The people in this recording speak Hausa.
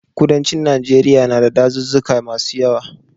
Kudancin Najeriya na da dazuzzuka masu yawa.